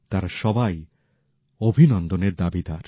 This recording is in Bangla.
তারা সবাই অভিনন্দনের দাবিদার